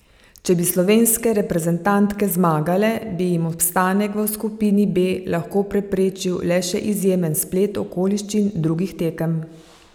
Če bi slovenske reprezentantke zmagale, bi jim obstanek v skupini B lahko preprečil le še izjemen splet okoliščin drugih tekem.